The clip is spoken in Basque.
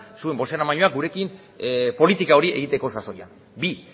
zuen bozeramailea gurekin politika hori egiteko sasoian bi